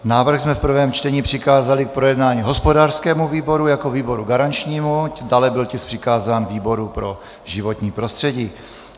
Návrh jsme v prvém čtení přikázali k projednání hospodářskému výboru jako výboru garančnímu, dále byl tisk přikázán výboru pro životní prostředí.